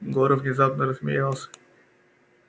горов внезапно рассмеялся